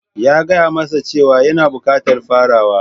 ...ya gaya masa cewa yana bukatar farawa...